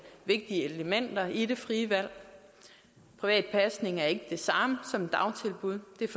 vigtige elementer i det frie valg privat pasning er ikke det samme som et dagtilbud der